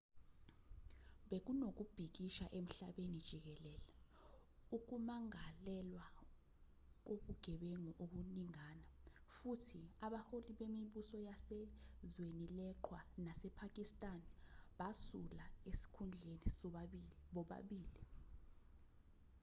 bekunokubhikisha emhlabeni jikelele ukumangalelwa kobugebengu okuningana futhi abaholi bemibuso yase-zwenileqhwa nasepakistan basula ezikhundleni bobabili